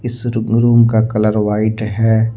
इस रुब का कलर व्हाइट है।